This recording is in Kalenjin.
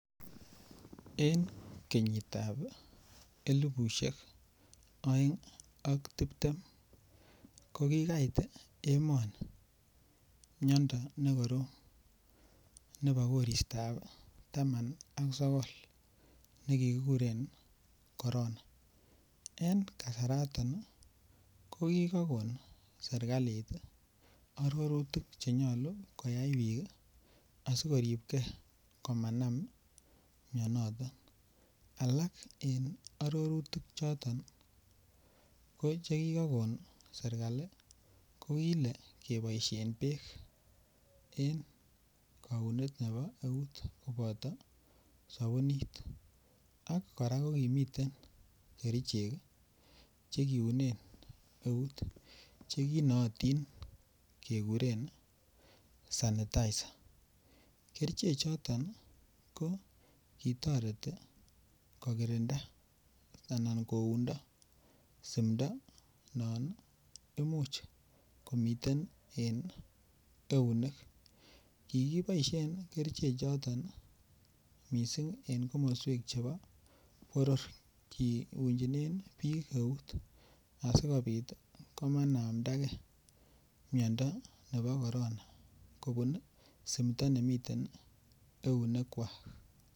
Eng kenyitab elipushek aeng ak tibtem ko kikait emani mnyando nekorom nebo koristab Tama ak sokol ,nekikikuren corona eng kasaratan ko kikakon serikalit arorutik chenyalu koyai bik asikoribke komanan mnyaniton alak eng arorutik choton ko cheki kakon serikali kokole